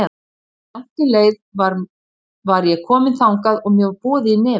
Áður en langt um leið var ég komin þangað og mér var boðið í nefið.